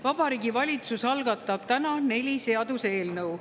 Vabariigi Valitsus algatab täna neli seaduseelnõu.